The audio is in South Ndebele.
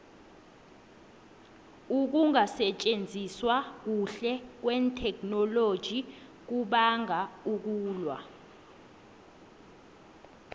ukungasitjenziswa kuhle kwetheknoloji kubanga ukulwa